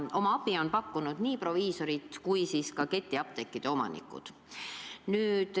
Oma abi on pakkunud nii proviisorid kui ka ketiapteekide omanikud.